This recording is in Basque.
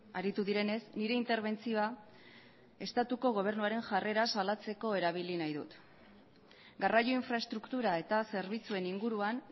aritu direnez nire interbentzioa estatuko gobernuaren jarrera salatzeko erabili nahi dut garraio infraestruktura eta zerbitzuen inguruan